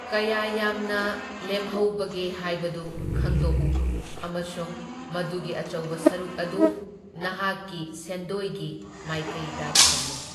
ꯀꯌꯥ ꯌꯥꯝꯅ ꯂꯦꯝꯍꯧꯕꯒꯦ ꯍꯥꯏꯕꯗꯨ ꯈꯪꯗꯣꯛꯎ ꯑꯃꯁꯨꯡ ꯃꯗꯨꯒꯤ ꯑꯆꯧꯕ ꯁꯔꯨꯛ ꯑꯗꯨ ꯅꯍꯥꯛꯀꯤ ꯁꯦꯟꯗꯣꯏꯒꯤ ꯃꯥꯏꯀꯩꯗ ꯊꯝꯃꯨ꯫